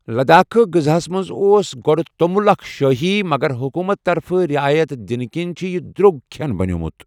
لدٲخہِ غذاہس منز اوس گوڈٕ تومُل اكھ شٲہی ،مگر حكوٗمت طرفہٕ رِیایت دِنہٕ كِنۍ چُھ یہِ در٘وگ كھین بنیومٗت ۔